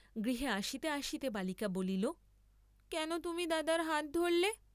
গৃহে আসিতে আসিতে বালিকা বলিল কেন তুমি দাদার হাত ধরলে?